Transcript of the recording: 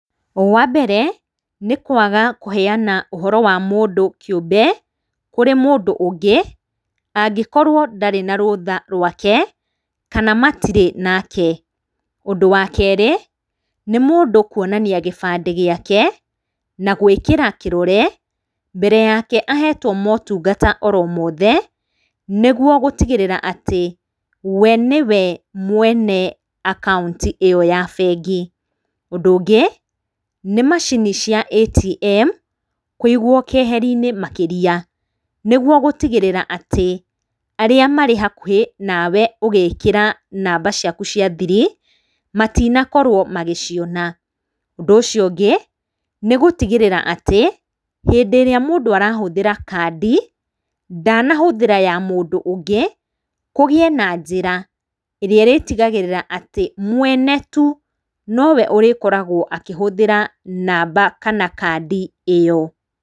Wa mbere, nĩ kwaga kũheana ũhoro wa mũndũ kĩũmbe kũrĩ mũndũ ũngĩ, angĩkorwo ndarĩ na rũtha rwake kana matirĩ nake. Ũndũ wa kerĩ, nĩ mũndũ kuonania gĩbandĩ gĩake, na gũĩkĩra kĩrore, mbere yake ahetwo motungata o mothe, nĩ guo gũtigĩrĩra ati we nĩwe mwene akaunti ĩyo ya bengi. Ũndũ ũngĩ, nĩ macini cia ATM, kũigwo kĩeheri-inĩ makĩria, nĩ guo gutigĩrĩra atĩ arĩa marĩ hakuhĩ nawe ũgĩkĩra namba caku cia thiri, matinakorwo magĩciona. Ũndũ ũcio ũngĩ, nĩ gũtigĩrĩra atĩ hĩndĩ ĩrĩa mũndũ arahũthĩrea kandi, ndanahũthĩra ya mũndũ ũngĩ, kũgie na njĩra ĩrĩa ĩrĩtigagĩrĩra atĩ mwene tu no we ũrĩkoragwo akĩhũthĩra namba kana kandi ĩyo.